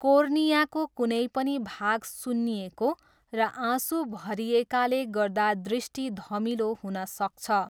कोर्नियाको कुनै पनि भाग सुन्निएको र आँसु भरिएकाले गर्दा दृष्टि धमिलो हुन सक्छ।